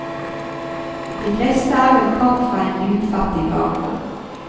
De fleste av dem kom fra en lutfattig bakgrunn.